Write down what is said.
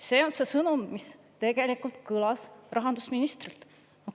See on see sõnum, mis tegelikult kõlas rahandusministrilt.